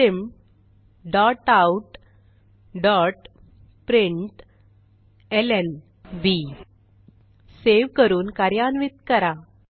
system dot out dot प्रिंटलं save करून कार्यान्वित करा